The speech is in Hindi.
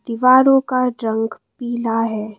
दीवारों का रंग पीला है।